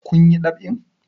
Kun yi ɗab'in?